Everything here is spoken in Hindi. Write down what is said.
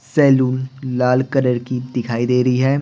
सलून लाल कलर की दिखाई दे रही है।